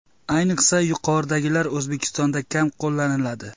Ayniqsa yuqoridagilar O‘zbekistonda kam qo‘llaniladi.